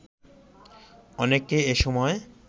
অনেককে এসময়